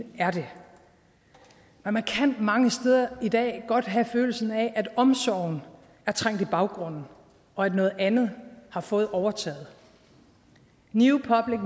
er det men man kan mange steder i dag godt have følelsen af at omsorgen er trængt i baggrunden og at noget andet har fået overtaget new public